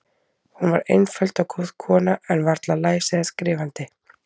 Hún var einföld og góð kona, en varla læs eða skrifandi.